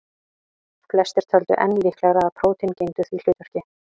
Flestir töldu enn líklegra að prótín gegndu því hlutverki.